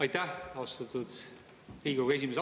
Aitäh, austatud Riigikogu esimees!